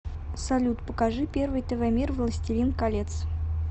салют покажи первый тв мир властелин колец